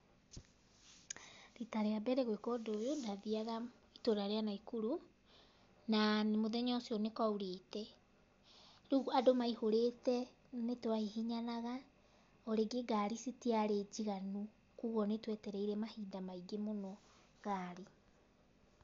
Riita rĩa mbere gwĩka ũndũ ũyũ, ndathiaga itũũra rĩa Naikuru na mũthenya ũcio nĩ kwaurĩte. Rĩu andũ maihũrĩte nĩ twahihinyanaga o rĩngĩ ngari citiarĩ njiganu koguo nĩ twetereire mahinda maingĩ mũno ngari.